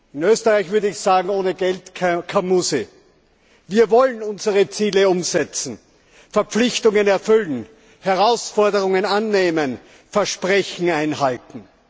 In Österreich würde ich sagen Ohne Geld keine Musik. Wir wollen unsere Ziele umsetzen, Verpflichtungen erfüllen, Herausforderungen annehmen, Versprechen einhalten.